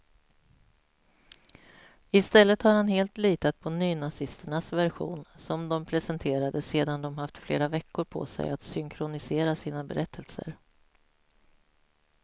I stället har han litat helt på nynazisternas version, som de presenterade sedan de haft flera veckor på sig att synkronisera sina berättelser.